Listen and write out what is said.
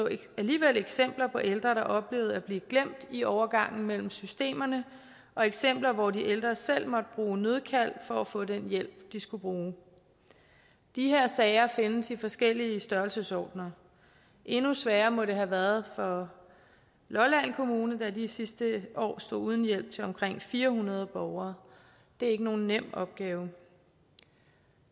alligevel eksempler på ældre der oplevede at blive glemt i overgangen mellem systemerne og eksempler på at de ældre selv måtte bruge nødkald for at få den hjælp de skulle bruge de her sager findes i forskellige størrelsesordener endnu sværere må det have været for lolland kommune da de sidste år stod uden hjælp til omkring fire hundrede borgere det er ikke nogen nem opgave